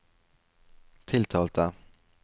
tiltalte